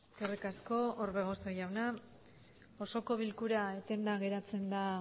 eskerrik asko orbegozo jauna osoko bilkura etenda geratzen da